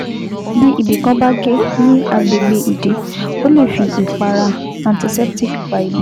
Bí ibì kan bá gé ní agbègbè ìdí, o lè fi ìpara anticeptic pa ibẹ̀